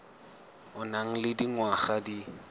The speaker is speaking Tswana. o nang le dingwaga di